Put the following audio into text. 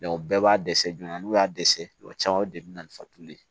bɛɛ b'a dɛsɛ joona n'u y'a dɛsɛ kuma caman o de bi na ni fatuli ye